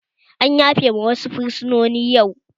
An yafe ma wasu fursunoni yau